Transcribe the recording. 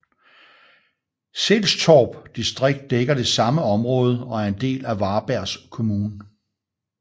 Sællstorp distrikt dækker det samme område og er en del af Varbergs kommun